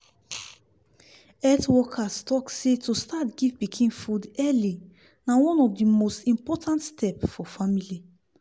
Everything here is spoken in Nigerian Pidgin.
health workers talk say to start give pikin food early na one of the most important step for family